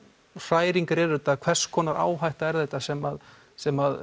hræringar eru þetta hvers konar áhætta er þetta sem sem